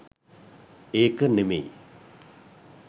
ඒක නෙමෙයි.